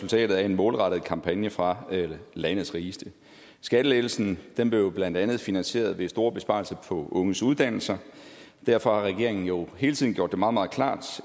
resultatet af en målrettet kampagne fra landets rigeste skattelettelsen blev blandt andet finansieret ved store besparelser på unges uddannelser og derfor har regeringen jo hele tiden gjort det meget meget klart